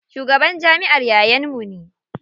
Shugaban jamiʼar yayan mu ne.